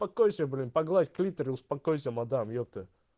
покойся блин погладь клитор и успокойся модам ёпте